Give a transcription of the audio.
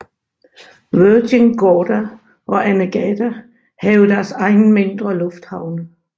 Virgin Gorda og Anegada have deres egen mindre lufthavne